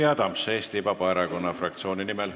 Jüri Adams Eesti Vabaerakonna fraktsiooni nimel.